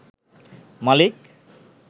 মালিক